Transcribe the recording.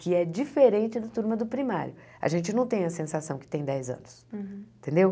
Que é diferente da turma do primário, a gente não tem a sensação que tem dez anos, entendeu?